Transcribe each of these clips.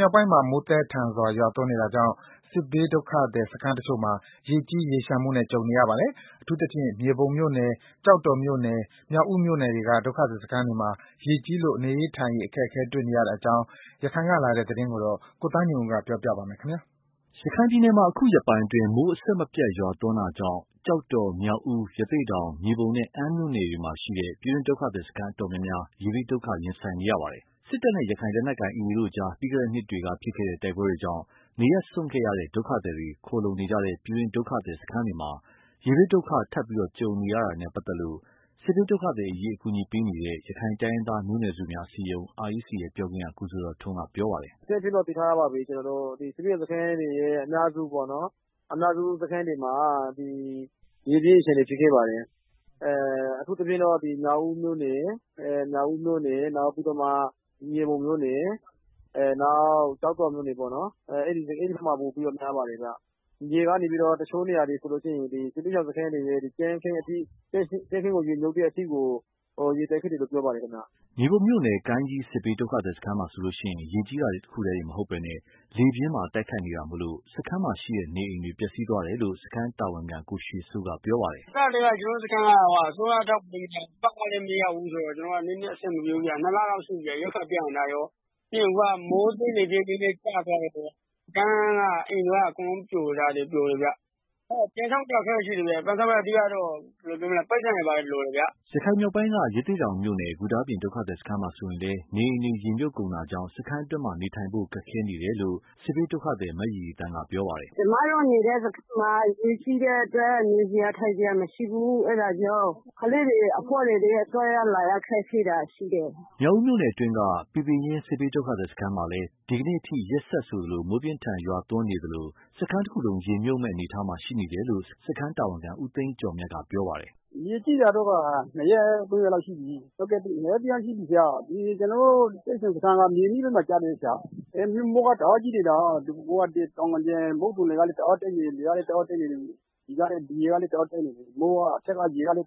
မြောက်ပိုင်းမှာ မိုးသည်းထန်စွာရွာသွန်းနေတာကြောင့် စစ်ဘေးဒုက္ခသည် စခန်းတစ်ချို့မှာ ရေကြီး၊ ရေလ ျှံမှုနဲ့ ကြုံနေကြရပါတယ်။ အထူးသဖြင့် မြေပုံမြို့နယ်၊ ကျောက်တော်မြို့နယ်၊ မြောက်ဦးမြို့နယ်တွေက ဒုက္ခသည်စခန်းတွေမှာ ရေကြီးလို့ နေရေး ထိုင်ရေး အခက်တွေ့နေတဲ့အကြောင်း ရခိုင်က လာတဲ့သတင်းကို ကိုသားညွန့်ဦး ပြောပြပါမယ်။ ရခိုင်ပြည်နယ်မှာ အခုရက်ပိုင်းအတွင်း မိုးအဆက်မပြတ်ရွာသွန်းမှုကြောင့် ကျောက်တော်၊ မြောက်ဦး၊ ရသေ့တောင်၊ မြေပုံနဲ့ အမ်းမြို့နယ်တွေမှာ ရှိတဲ့ ပြည်တွင်းဒုက္ခသည်စခန်း တော်တော်များများ ရေဘေးဒုက္ခ ရင်ဆိုင်နေကြရပါတယ်။ စစ်တပ်နဲ့ ရခိုင်လက်နက်ကိုင် AA တို့ကြား ပြီးခဲ့တဲ့နှစ်တွေက ဖြစ်ခဲ့တဲ့ တိုက်ပွဲတွေကြောင့် နေရပ်စွန့်ခဲ့ရတဲ့ ဒုက္ခသည်တွေ ခိုလှုံနေကြတဲ့ ပြည်တွင်းဒုက္ခသည်စခန်းတွေမှာ ရေဘေးဒုက္ခ ထပ်ကြုံနေရတာနဲ့ပါတ်သက်လို့ စစ်ဘေးဒုက္ခသည်အရေး လုပ်ကိုင်နေတဲ့ ရခိုင်တိုင်းရင်း သားမျိုးနွယ်စုများ အစည်းအရုံး REC ပြောခွင့်ရ ကိုဇော်ဇော်ထွန်းက ပြောပါတယ်။ “ အကြမ်းဖျင်းသိထားတာကတော့ စစ်ရှောင်စခန်းတွေ အများစုမှာ ရေကြီးရေလျံတာတွေ ဖြစ်နေတယ်။ အထူးသဖြင့်တော့ မြေပုံမြို့နယ်၊ ကျောက်တော်မြို့နယ်၊ မြောက်ဦးမြို့နယ်၊ အဲဒီဖက်မှာ ပိုပြီးတော့ များပါတယ်ခင်မျာ။ ရေကနေပြီးတော့ တစ်ချို့နေရာတွေဆိုရင် စစ်ရှောင်စခန်းတွေရဲ့ ကြမ်းခင်းကို ရေမြုပ်တဲ့ အထိကို ရေတက်နေတယ်လို့ ပြောပါ တယ်ခင်မျာ။” မြေပုံမြို့နယ် ကိုင်းကြီးစစ်ဘေးဒုက္ခသည်စခန်းမှာဆိုရင် ရေကြီးတာတစ်ခုတည်းမဟုတ်ပဲ လေပြင်းပါတိုက်ခတ်နေတာကြောင့် စခန်းမှာရှိတဲ့ နေအိမ်တွေ ပျက်စီးသွားတယ်လို့ စခန်းတာဝန်ခံ ကိုရွှေစိုးက ပြောပါတယ်။ “စကတည်းက ကျနော်တို့ စခန်းက အစိုးရထောက်ပံ့ကြေးလည်းမရဘူးဆိုတော့ ရိက္ခာပြတ်နေတာ နှစ်လလောက်ရှိနေပါပြီ။ ပြီးတော့ မိုးပြင်းလေပြင်းကျခဲ့တော့ စခန်းက အိမ်တွေလည်း အကုန်လုံးပြိုနေပါတယ်။ ပြန်ဆောက်ဖို့ အတွက်လည်း အခက် အခဲရှိ တယ်ဗျာ။ ပြန်ဆောင်ဖို့ဆိုရင် ပိုက်ဆံလိုတယ်ဗျာ။" ရခိုင်မြောက်ပိုင်းက ရသေ့တောင်မြို့နယ် ဂူတာပြင်ဒုက္ခသည်စခန်းမှာ ဆိုရင်လည်း နေအိမ်တွေ ရေမြုပ်ကုန်တာကြောင့် စခန်းအတွင်းနေထိုင်ဖို့ ခက်ခဲနေကြတယ်လို့ စစ်ဘေး ဒုက္ခသည် မရီရီသန်းက ပြောပါတယ်။ “ကျမတို့နေတဲ့ စစ်ရှောင်စခန်းမှာရေကြီးနေတာကြောင့် နေစရာထိုင်စရာမရှိဘူး။ ကလေးတွေ အဘွားတွေ သွားရလာရ ခက်ခဲတာ ရှိတယ်။” မြောက်ဦးမြို့နယ်အတွင်းက ပီပင်ရင်း စစ်ဘေးဒုက္ခသည်စခန်းမှာလည်း ဒီကနေ့အထိ ရက်ဆက် မိုးပြင်းထန်စွာရွာသွန်းနေသလို စခန်းတစ်ခုလုံးရေမြုပ်မယ့် အနေအထားရှိနေ တယ်လို့ စခန်းတာဝန်ခံ ဦးသိန်းကျော်မြတ်က ပြောပါတယ်။ “ ရေကြီးတာကတော့ နှစ်ရက် သုံးရက်လောက် ရှိပြီ ကျနော်တို့ စစ်ရှောင်စခန်းက မြေနိမ့်ပိုင်းမှာ ကျတယ်။ မိုးကလည်း တအားကြီးနေတာ။ မုတ်သံလေကလည်း တအားတိုက်တော့ ဒီရေက လည်း တက် အထက်က မိုးကလည်းတအားများနေတော့ အခန်းတွေ လမ်းတွေ ရေမြိုပ်နေ တ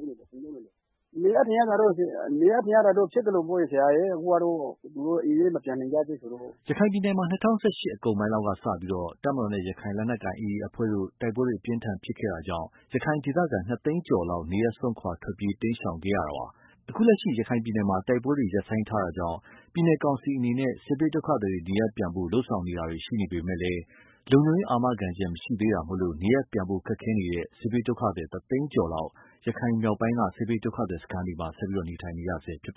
ယ်။ နေရထိုင်ရတာကလည်း ဖြစ်သလိုပေါ့ဗျာ အိမ်လည်း မပြန်နိုင်ကြ သေးဘူးဆိုတော့ လေ။ ” ရခိုင်ပြည်နယ်မှာ ၂၀၁၈ အကုန်ပိုင်းလောက်ကစပြီး တပ်မတော်နဲ့ ရခိုင်လက်နက်ကိုင် AA အဖွဲ့တို့ တိုက်ပွဲ အပြင်းအထန် ဖြစ်ပွားခဲ့တာကြောင့် ရခိုင်ဒေသခံ ၂ သိန်းကျော်လောက် နေရပ်စွန့်ခွာ ထွက်ပြေးတိမ်းရှောင်ခဲ့ကြရတာပါ။ အခုလက်ရှိ ရခိုင်ပြည်နယ်မှာ တိုက်ပွဲတွေ ရပ်ဆိုင်းထားတာကြောင့် ပြည်နယ်ကောင်စီအနေနဲ့ စစ်ဘေးဒုက္ခသည်တွေ နေရပ်ပြန်ဖို့ လုပ်ဆောင်နေ တာရှိပေမယ့်လည်း လုံခြုံရေးအာမခံချက် မရှိသေးတာကြောင့် နေရပ်ပြန်ဖို့ ခက်ခဲနေတဲ့ စစ်ဘေးဒုက္ခသည် တစ်သိန်းကျော်လောက် ရခိုင်မြောက်ပိုင်းက စစ်ဘေးဒုက္ခသည်တွေ စခန်းတွေမှာ နေထိုင်နေရဆဲဖြစ်ပါ